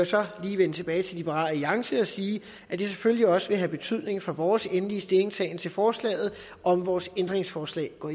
så lige vende tilbage til liberal alliance og sige at det selvfølgelig også vil have betydning for vores endelige stillingtagen til forslaget om vores ændringsforslag går